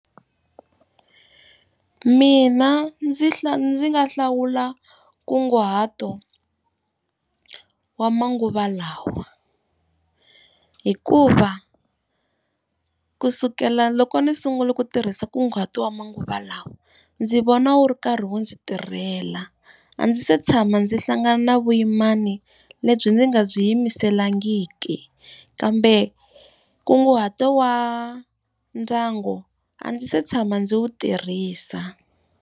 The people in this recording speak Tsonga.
Mina ndzi ndzi nga hlawula nkunguhato wa manguva lawa. Hikuva kusukela loko ndzi sungula ku tirhisa nkunguhato wa manguva lawa, ndzi vona wu ri karhi wu ndzi tirhela. A ndzi se tshama ndzi hlangana na vuyimana lebyi ndzi nga byi yimiselangiki, kambe nkunguhato wa ndyangu a ndzi se tshama ndzi wu tirhisa.